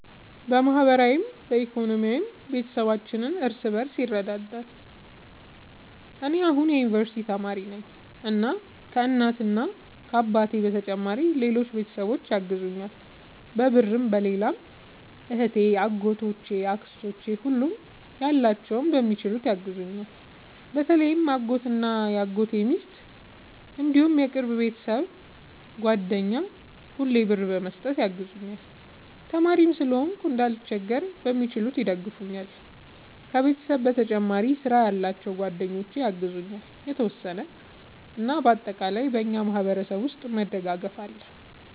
በማህበራዊም በኢኮኖሚም ቤተሰባችን እርስ በርስ ይረዳዳል። እኔ አሁን የዩንቨርስቲ ተማሪ ነኝ እና ከ እናት አባቴ በተጨማሪ ሌሎች ቤተሰቦቼ ያግዙኛል በብርም በሌላም እህቴ አጎቶቼ አክስቶቼ ሁሉም ያላቸውን በሚችሉት ያግዙኛል። በተለይ አጎቴ እና የአጎቴ ሚስት እንዲሁም የቅርብ የቤተሰብ ጓደኛ ሁሌ ብር በመስጠት ያግዙኛል። ተማሪም ስለሆንኩ እንዳልቸገር በሚችሉት ይደግፈኛል። ከቤተሰብ በተጨማሪ ስራ ያላቸው ጓደኞቼ ያግዙኛል የተወሰነ። እና በአጠቃላይ በእኛ ማህበረሰብ ውስጥ መደጋገፍ አለ